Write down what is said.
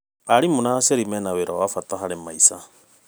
Arimũ na aciari mena wĩra wa bata harĩ maica.